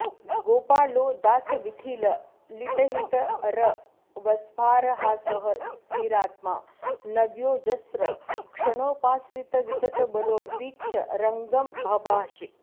गोपालो दासवीथीललितहितरवस्फारहासः स्थिरात्मा नव्योऽजस्रं क्षणोपाश्रितविततबलो वीक्ष्य रङ्गं बभाषे